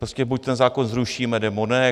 Prostě buď ten zákon zrušíme, nebo ne.